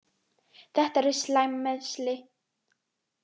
Þetta eru slæm meiðsli.